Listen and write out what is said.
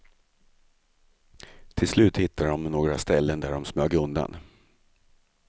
Till slut hittade de några ställen där de smög undan.